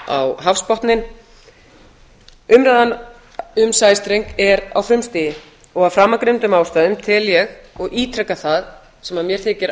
á hafsbotninn umræðan um sæstreng er á frumstigi og af framangreindum ástæðum tel ég og ítreka það sem mér þykir